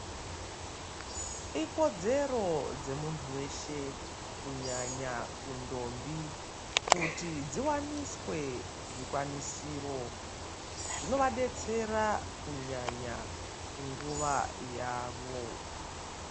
Ikodzero dzemuntu weshe kunyanya kundombi kuti dziwaniswe zvikwanisiro zvinovabetsera kunyanya kunguva yavo.